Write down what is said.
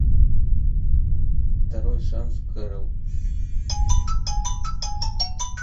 второй шанс кэрол